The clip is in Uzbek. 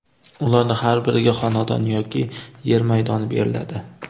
Ularning har biriga xonadon yoki yer maydoni beriladi.